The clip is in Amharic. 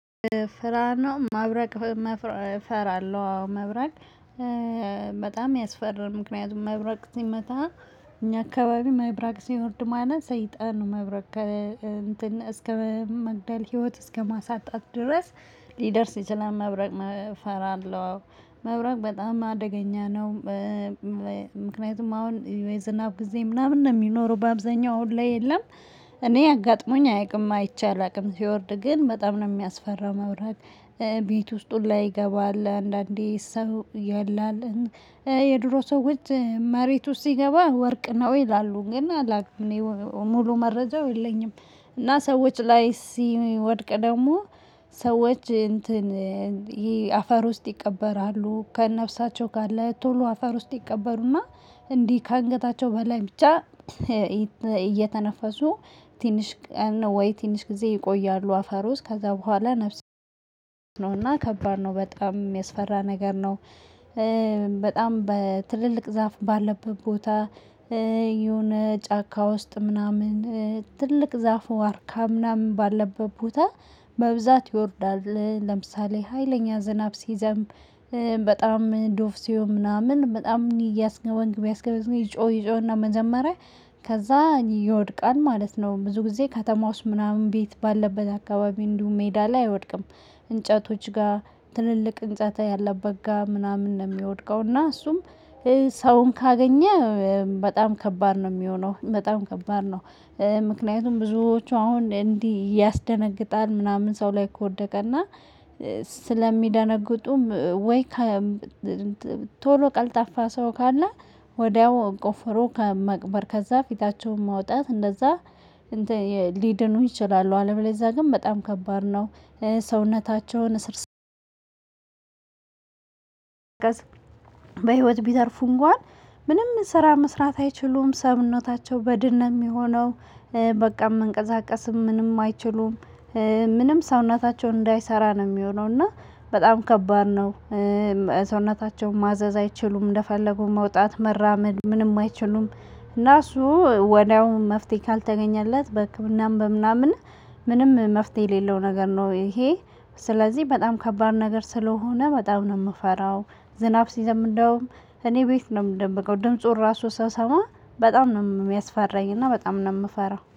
መብረቅ እፈራለሁ አዎ። መብረቅ በጣም ያስፈራል። ምክንያቱም መብረቅ ሲመታ እኛ አካባቢ መብረቅ ሲወርድ ማለት ሰይጣን መብረቅ ጋር እንትን እስከ መግደል ህይወት እስከማሳጣት ድረስ ሊደርስ ይችላል። መብረቅ እፈራለሁ መብረቅ በጣም አደገኛ ነው። ምክንያቱም አሁን የዝናብ ጊዜ ምናምን ነው የሚኖረው በአብዛኛው አሁን ላይ የለም። እኔ አጋጥሞኝ አያውቅም አይቼ አላውቅም ሲወርድ ግን በጣም ነው የሚያስፈራው መብረቅ። ቤት ውስጥ ሁላ ይገባል አንዳንዴ ሰው አለና የድሮ ሰዎች መሬት ውስጥ ሲገባ ወርቅ ነው ይላሉ ግን አላውቅም። ሙሉ መረጃው የለኝም። እና ሰዎች ላይ ሲወድቅ ደግሞ ሰዎች እንትን ይሄ አፈር ውስጥ ይቀበራሉ ከነፍሳቸው ጋር ላይ ቶሎ አፈር ውስጥ ይቀበሩና። እንዲህ ከአንገታቸው በላይ ብቻ እየተነፈሱ ትንሽ ወይ ትንሽ ጊዜ ይቆያሉ። አፈሩ ውስጥ ከዛ በኋላ ነፍስ እና ከባድ ነው በጣም የሚያስፈራ ነገር ነው። በጣም በትልልቅ ዛፍ ባለበት ቦታ የሆነ ጫካ ውስጥ ምናምን ትልቅ ዛፍ ዋርካ ምናምን ባለበት ቦታ በብዛት ይወርዳል። ለምሳሌ ሀይለኛ ዝናብ ሲዘንብ በጣም ዶፍ ሲሆን ምናምን በጣም እኔ ይጮህ ይጮህና መጀመሪያ ከዛ ይወድቃል ማለት ነው። ብዙ ጊዜ ከተማ ውስጥ ምናምን ቤት ባለበት አካባቢ እንዲሁም ሜዳ ላይ አይወድቅም። እንጨቶች ጋር ትልልቅ ህንፃ ያለበት ጋር ምናምን ነው የሚወድቀው እና እሱም። ሰውን ካገኘ በጣም ከባድ ነው የሚሆነው በጣም ከባድ ነው። ምክንያቱም ብዙዎቹ አሁን እንዲህ ያስደነግጣል ምናምን ሰው ላይ ከወደቀ እና ስለሚደነግጡም ወይ ቶሎ ቀልጣፋ ሰው ካለ ወዲያው ቆፍሮ መቅበር ከዛ ፊታቸውን ማውጣት እንደዛ ሊድኑ ይችላሉ አለበለዚያ ግን በጣም ከባድ ነው። ሰውነታቸውን እስር መስራት አይችሉም ሰውነታቸው በድን ነው የሚሆነው። በቃ መንቀሳቀስም ምንም አይችሉም። ምንም ሰውነታቸውን እንዳይሰራ ነው የሚሆነው እና በጣም ከባድ ነው። ሰውነታቸውን ማዘዝ አይችሉም እንደፈለጉ መውጣት መራመድ ምንም አይችሉም። እና እሱ ወዲያውኑ መፍትሄ ካልተገኘለት በህክምናም በምናምን ምንም መፍትሄ የሌለው ነገር ነው ይሄ። ስለዚህ በጣም ከባድ ነገር ስለሆነ በጣም ነው የምፈራው። ዝናብ ሲዘንብ እንዲያውም እኔ ቤት ነው የምደበቀው ድምፁን ራሱ ስሰማ በጣም ነው የሚያስፈራኝ እና በጣም ነው የምፈራው